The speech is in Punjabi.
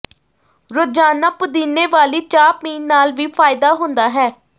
ਰੋਜ਼ਾਨਾ ਪੁਦੀਨੇ ਵਾਲੀ ਚਾਹ ਪੀਣ ਨਾਲ ਵੀ ਫਾਇਦਾ ਹੁੰਦਾ ਹੈ